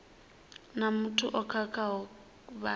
na muthu o khakhaho vha